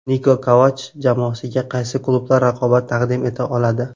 Niko Kovach jamoasiga qaysi klublar raqobat taqdim eta oladi.